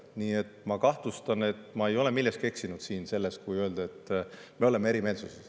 Nii et ma kahtlustan, et ma ei eksinud milleski siin, kui ütlesin, et me oleme eri meelt.